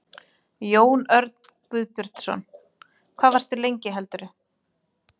Jón Örn Guðbjartsson: Hvað varstu lengi heldurðu?